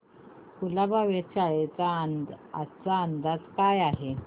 कुलाबा वेधशाळेचा आजचा अंदाज काय आहे